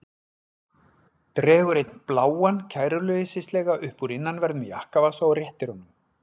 Dregur einn bláan kæruleysislega upp úr innanverðum jakkavasa og réttir honum.